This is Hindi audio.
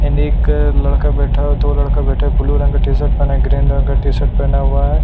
एंड एक लड़का बैठा हो दो लड़का बैठे ब्लू रंग का टी शर्ट पहने ग्रीन रंग का टी शर्ट पहना हुआ है।